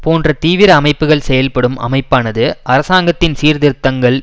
போன்ற தீவிர அமைப்புக்கள் செயல்ப்படும் அமைப்பானது அரசாங்கத்தின் சீர்திருத்தங்கள்